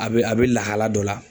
A be, a be lahala dɔ la.